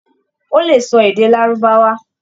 Ó le sọ èdè Lárúbáwá.